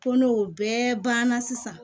Ko n'o bɛɛ banna sisan